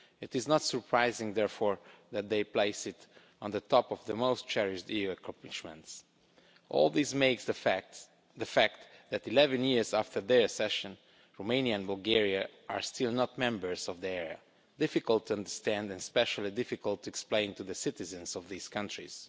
It is not surprising, therefore, that they place it at the top of the most cherished EU accomplishments. All this makes the fact that 11 years after their accession, Romania and Bulgaria are still not members of the area difficult to understand and especially difficult to explain to the citizens of these countries.